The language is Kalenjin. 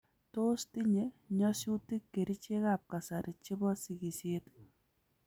Tos tinye nyasyutik kerichek ab kasari chebo sigisyet?